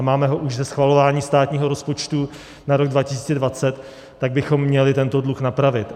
A máme ho už ze schvalování státního rozpočtu na rok 2020, tak bychom měli tento dluh napravit.